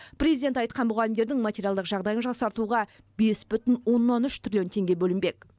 президент айтқан мұғалімдердің материалдық жағдайын жақсартуға бес бүтін оннан үш триллион теңге бөлінбек